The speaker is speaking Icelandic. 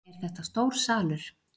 Er þetta stór salur?